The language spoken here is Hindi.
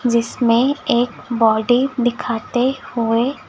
जिसमें एक बॉडी दिखाते हुए--